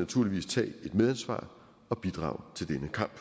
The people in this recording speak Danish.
naturligvis tage et medansvar og bidrage til denne kamp